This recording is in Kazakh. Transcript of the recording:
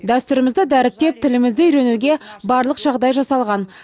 дәстүрімізді дәріптеп тілімізді үйренуге барлық жағдай жасалған